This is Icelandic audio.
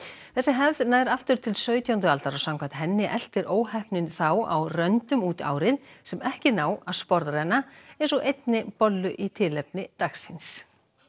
þessi hefð nær aftur til sautjándu aldar og samkvæmt henni eltir óheppnin þá á röndum út árið sem ekki ná að sporðrenna eins og einni bollu í tilefni dagsins